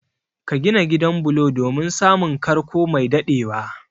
Ka gina gidan bulo domin samun karko mai dadewa